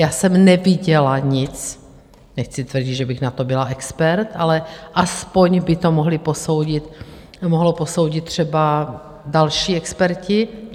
Já jsem neviděla nic - nechci tvrdit, že bych na to byla expert, ale alespoň by to mohli posoudit třeba další experti.